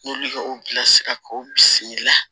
N'olu ye o bilasira k'o bisimila